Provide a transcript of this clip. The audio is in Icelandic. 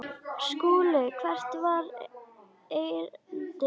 SKÚLI: Hvert var erindi yðar?